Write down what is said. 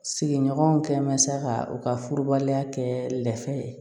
Sigiɲɔgɔnw kɛ mansa ka u ka furubaliya kɛ lɛfɛ ye